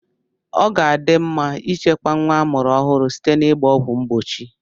Ọ ga-adị mma ịchekwa nwa amụrụ ọhụrụ site n'igba ọgwụ mgbochi.